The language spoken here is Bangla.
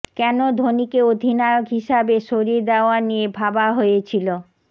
কেন ধোনিকে অধিনায়ক হিসেবে সরিয়ে দেওয়া নিয়ে ভাবা হয়েছিল